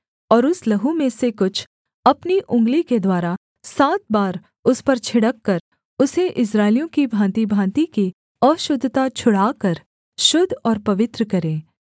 और उस लहू में से कुछ अपनी उँगली के द्वारा सात बार उस पर छिड़ककर उसे इस्राएलियों की भाँतिभाँति की अशुद्धता छुड़ाकर शुद्ध और पवित्र करे